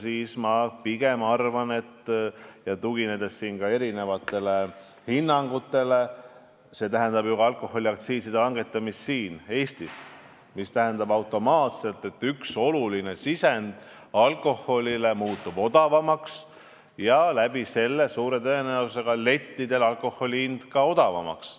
Mina pigem arvan, tuginedes ka erinevatele hinnangutele, et alkoholiaktsiiside langetamine Eestis tähendaks automaatselt, et üks oluline alkoholi hinnasisend muutuks odavamaks ja seetõttu muutuks suure tõenäosusega ka alkoholi hind lettidel odavamaks.